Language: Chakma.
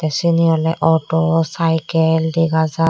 siyani ole auto saikel degajar.